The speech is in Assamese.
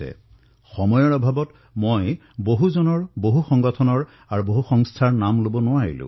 বহুবাৰ সময়ৰ অভাৱত বহু লোকৰ নাম বহু সংগঠনৰ নাম মই লব নোৱাৰো